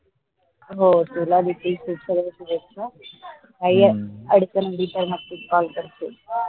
हो तुला बी सगळ शुभेच्छा काही अडचणबिछान असतील तर call करशील